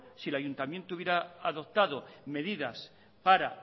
si el ayuntamiento hubiera adoptado medidas para